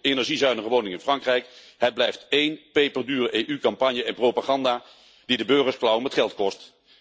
energiezuinige woningen in Frankrijk, het blijft één peperdure EU campagne en propaganda die de burgers klauwen met geld kost.